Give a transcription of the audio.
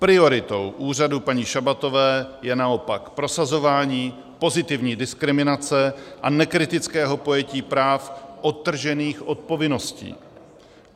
Prioritou úřadu paní Šabatové je naopak prosazování pozitivní diskriminace a nekritického pojetí práv odtržených od povinností.